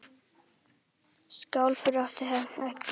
Sjálfur átti hann ekki börn.